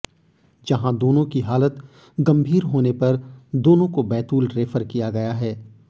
जहां दोनों की हालत गंभीर होने पर दोनों को बैतूल रेफर किया गया है